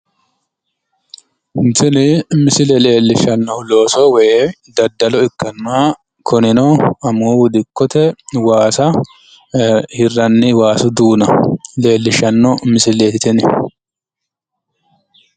tini misile leellishshannohu looso woy daddalo ikkanna kunino amuwu dikkote waasa hirranni waasu duuna leellishshanno misileeti tini.